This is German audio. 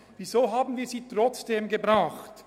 Weshalb haben wir sie trotzdem eingebracht?